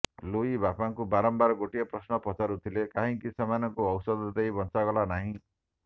Louis ବାପାଙ୍କୁ ବାରମ୍ବାର ଗୋଟିଏ ପ୍ରଶ୍ନ ପଚାରୁଥିଲେ କାହିଁକି ସେମାନଙ୍କୁ ଔଷଧ ଦେଇ ବଞ୍ଚାଗଲା ନାହିଁ